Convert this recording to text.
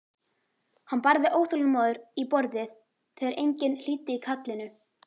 Hann barði óþolinmóður í borðið þegar enginn hlýddi kallinu.